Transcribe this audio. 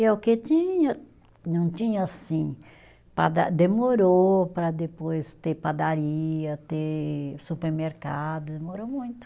E é o que tinha, não tinha assim, pada, demorou para depois ter padaria, ter supermercado, demorou muito.